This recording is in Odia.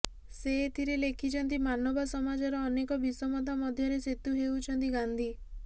ସେ ଏଥିରେ ଲେଖିଛନ୍ତି ମାନବା ସମାଜର ଅନେକ ବିଷମତା ମଧ୍ୟରେ ସେତୁ ହେଉଛନ୍ତି ଗାନ୍ଧି